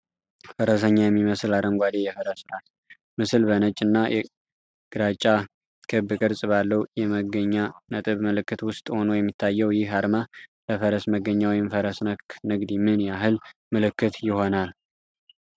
ፈረሰኛ የሚመስል አረንጓዴ የፈረስ ራስ ምስል፣ በነጭ እና ግራጫ ክብ ቅርጽ ባለው የመገኛ ነጥብ ምልክት ውስጥ ሆኖ የሚታየው፣ ይህ አርማ ለፈረስ መገኛ ወይም ፈረስ ነክ ንግድ ምን ያህል ምልክት ይሆናል